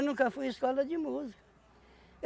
Eu nunca fui em escola de música.